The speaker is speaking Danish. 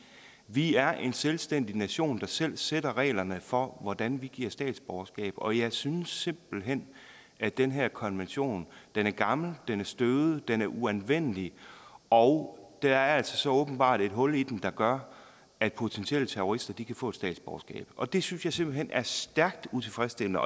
vi er en selvstændig nation der selv sætter reglerne for hvordan vi giver statsborgerskab og jeg synes simpelt hen at den her konvention er gammel den er støvet den er uanvendelig og der er så åbenbart et hul i den der gør at potentielle terrorister kan få et statsborgerskab og det synes jeg simpelt hen er stærkt utilfredsstillende